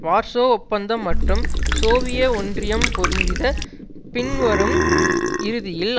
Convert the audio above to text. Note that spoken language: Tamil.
வார்சோ ஒப்பந்தம் மற்றும் சோவிய ஒன்றியம் பொறிந்தித பின்வரும் இறுதியில்